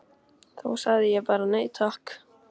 Þá sagði ég bara: Nei takk!